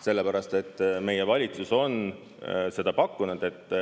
Sellepärast et meie valitsus on pakkunud, et